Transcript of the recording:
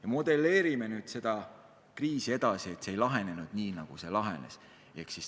Ja modelleerime nüüd seda kriisi edasi nii, et see ei lahenenud sel moel, nagu see lahenes.